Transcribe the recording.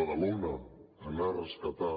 badalona anar a rescatar